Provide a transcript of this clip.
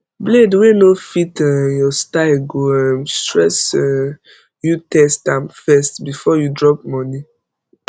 blade wey no fit um your style go um stress um youtest am first before you drop money